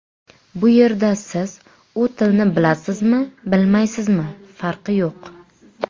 Bu yerda siz u tilni bilasizmi-bilmaysizmi farqi yo‘q.